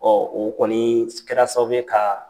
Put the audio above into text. o kɔnii s kɛra sababu ye kaa